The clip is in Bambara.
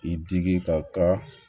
I digi ka